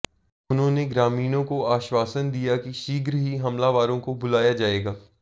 उन्होंने ग्रामीणों को आश्वासन दिया कि शीघ्र ही हमलावरों को बुलाया जाएगा